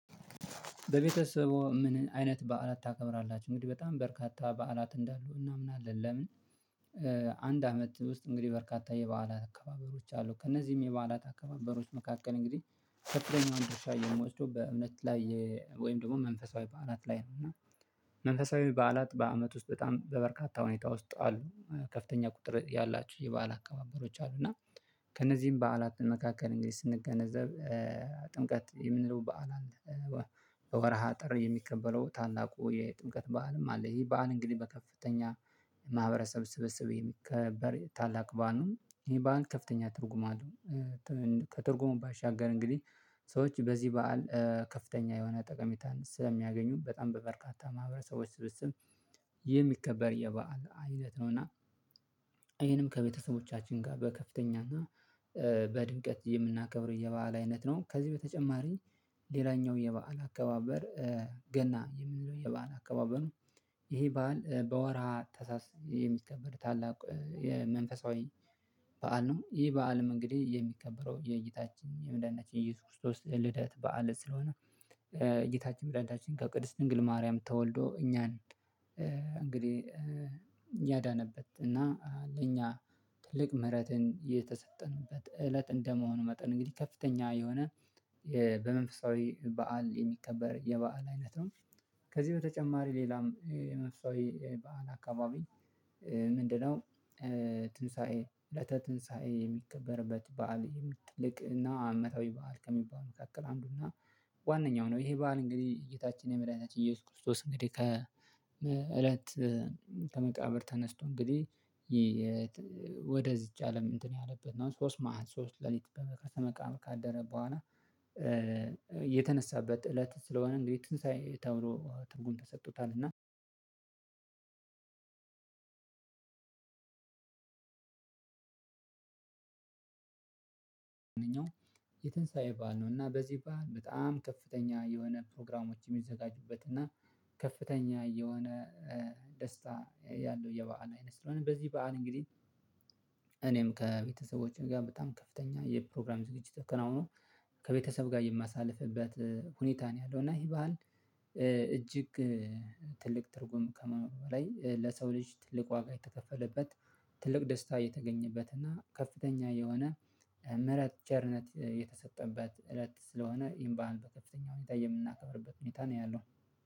በቤተሰቦ ምን አይነት በዓላት ታከብራላችሁ እንግዲህ በጣም በርካታ በዓላት እንዳሉ እናምናለን ለምን አንድ አመት ውስጥ እንግዲህ በርካታ የበዓላት አከባበሮች አሉ ከእነዚህም የበዓላት አከባበሮች መካከል እንግዲህ ተከትለኛውን ድርሻ የሚወስደው በእምነት ላይ ወይም ደግሞ መንፈሳዊ በዓላት ላይ ነው እና መንፈሳዊ በዓላት በአመት ውስጥ በጣም በበርካታ ሁኔታ ውስጥ አሉ ከፍተኛ ቁጥር ያላችሁ የበአል አካባበሮች አሉ እና ከእነዚህም በዓላት መካከል እንግዲህ ስንገነዘብ ጥምቀት የምንለው በዓል አለ በወርሃ ጥር የሚከበረው ታላቁ የጥምቀት በዓልም አለ ይሄ በዓል እንግዲህ በከፍተኛ ማህበረሰብ ስብስብ የሚከበር ታላቅ በዓል ነው ይሄ በዓል ከፍተኛ ትርጉም አለው ከትርጉሙ ባሻገር እንግዲህ ሰዎች በዚህ በዓል ከፍተኛ የሆነ ጠቀሜታን ስለሚያገኙ በጣም በበርካታ ማህበረሰቦች ስብስብ የሚከበር የበአል አይነት ነው እና ይሄንም ከቤተሰቦቻችን ጋር በከፍተኛ እና በድምቀት የምናከብረው የበአል አይነት ነው ከዚህ በተጨማሪ ሌላኛው የበአል አከባበር ገና የምንለው የበአል አከባበሩ ይሄ በዓል በወርሃ ታህሳስ የሚከበር ታላቅ የመንፈሳዊ በዓል ነው ይህ በዓልም እንግዲህ የሚከበረው የጌታችን የመድኃኒታችን የኢየሱስ ክርስቶስ ልደት በዓል ስለሆነ ጌታችን መድኃኒታችን ከቅድስት ድንግል ማርያም ተወልዶ እኛን እንግዲህ ያዳነበት እና ለእኛ ትልቅ ምህረትን የተሰጠንበት እለት እንደመሆኑ መጠን እንግዲህ ከፍተኛ የሆነ በመንፈሳዊ በዓል የሚከበር የበአል አይነት ነው ከዚህ በተጨማሪ ሌላም የመፍሳዊ የበአል አካባቢ ምንድነው ትንሳኤ እለተ ትንሳኤ የሚከበርበት በዓል ትልቅና አመታዊ በዓል ከሚባል መካከል አንዱ እና ዋነኛው ነው ይሄ በዓል እንግዲህ ጌታችን መድኃኒታችን ኢየሱስ ክርስቶስ እንግዲህ ከ እለት ከመቃብር ተነስቶ እንግዲህ ወደዚች አለም እንትን ያለበት ነው ሶስት መአልተ ሶስት ሌሊት ከመቃብር ካደረ በኋላ የተነሳበት እለት ስለሆነ እንግዲህ ትንሳኤ ተብሎ ትርጉም ተሰጥቶታል እና የትንሳኤ በዓል ነው እና በዚህ በዓል በጣም ከፍተኛ የሆነ ፕሮግራሞች የሚዘጋጁበት እና ከፍተኛ የሆነ ደስታ ያለው የበአል አይነት ስለሆነ በዚህ በዓል እንግዲህ እኔም ከቤተሰቦቼ ጋር በጣም ከፍተኛ የፕሮግራም ዝግጅት ተከናውኖ ከቤተሰብ ጋር የማሳልፍበት ሁኔታ ነው ያለው እና ይሄ ባህል እጅግ ትልቅ ትርጉም ከመሆን በላይ ለሰው ልጅ ትልቅ ዋጋ የተከፈለበት ትልቅ ደስታ የተገኘበት እና ከፍተኛ የሆነ ምህረት ቸርነት የተሰጠበት እለት ስለሆነ ይህን በዓል በከፍተኛ ሁኔታ የምናከብርበት ሁኔታ ነው ያለው